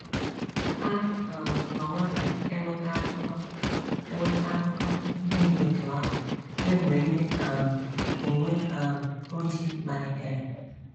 A um nọwo na - enweta akụkọ - enweta akụkọ ndị dị otú ahụ kemgbe ndị um uwe um ojii malitere.